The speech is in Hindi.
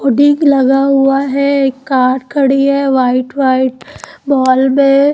लगा हुआ है कार खड़ी है व्हाइट व्हाइट मॉल में--